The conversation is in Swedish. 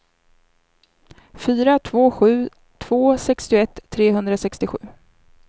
fyra två sju två sextioett trehundrasextiosju